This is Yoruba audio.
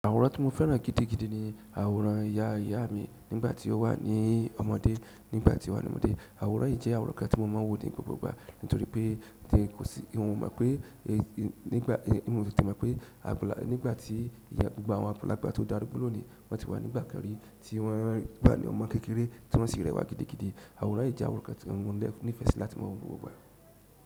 Àwòrán tí mo fẹ́ràn gidigidi ni àwòrán ìyá ìyá mi nígbà tí ó wà ní ọmọdé, nígbà tí ó wà ní ọmọdé. Àwòrán yìí jẹ́ àwòrán kan tí mo máa ń wò ní gbogbo ìgbà nítorí pé kosi, n ò mo pé n ò tètè mọ̀ pé nígbà tí gbogbo àwọn àgbàlagbà tó darúgbó lónìí wọ́n ti wà ní ìgbà kan rí tí wọ́n wà ní ọmọ kékeré tí wọ́n sì rẹwà gidigidi. Àwòrán yìí jẹ́ àwòrán kan tí mo ní ìfẹ́ sí láti máa wò ní gbogbo ìgbà.